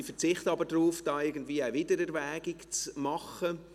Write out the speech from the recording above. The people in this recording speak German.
Sie verzichten aber darauf, eine Wiedererwägung zu machen.